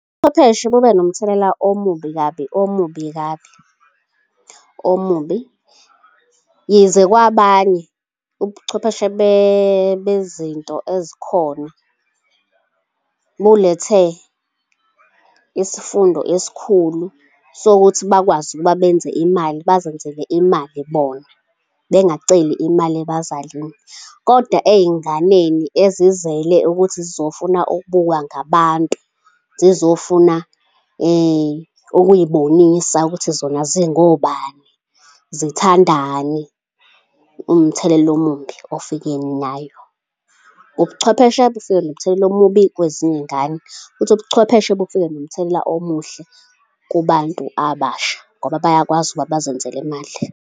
Ubuchwepheshe kube nomthelela omubi kabi, omubi kabi, omubi. Yize kwabanye ubuchwepheshe bezinto ezikhona bulethe isifundo esikhulu sokuthi bakwazi ukuba benze imali, bazenzele imali bona bengaceli imali ebazalini. Kodwa ey'nganeni ezizele ukuthi zizofuna ukubukwa ngabantu, zizofuna ukuyibonisa ukuthi zona zingobani, zithandani, umthelelo omubi ofike nayo. Ubuchwepheshe bufike nomthelelo omubi kwezinye iy'ngane futhi ubuchwepheshe bufike nomthelela omuhle kubantu abasha ngoba bayakwazi ukuba bazenzele imali.